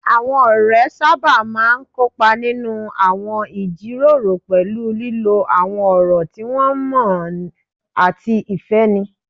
Àwọn ọ̀rẹ́ sábà máa ń kópa nínú àwọn ìjíròrò pẹ̀lú lílo àwọn ọ̀rọ̀ tí wọ́n mọ̀ ọ́n àti ìfẹ́ni